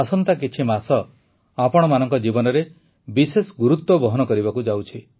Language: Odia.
ଆସନ୍ତା କିଛିମାସ ଆପଣମାନଙ୍କ ଜୀବନରେ ବିଶେଷ ଗୁରୁତ୍ୱ ବହନ କରିବାକୁ ଯାଉଛି